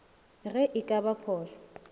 ge e ka ba phošwa